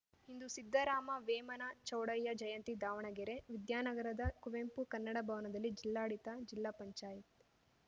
ಇಂದು ಸಿದ್ದರಾಮ ವೇಮನ ಚೌಡಯ್ಯ ಜಯಂತಿ ದಾವಣಗೆರೆ ವಿದ್ಯಾನಗರದ ಕುವೆಂಪು ಕನ್ನಡ ಭವನದಲ್ಲಿ ಜಿಲ್ಲಾಡಳಿತ ಜಿಲ್ಲಾ ಪಂಚಾಯತ್